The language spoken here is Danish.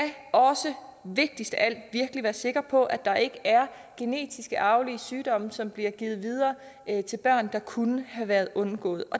også vigtigst af alt virkelig være sikre på at der ikke er genetisk arvelige sygdomme som bliver givet videre til børn hvis det kunne været undgået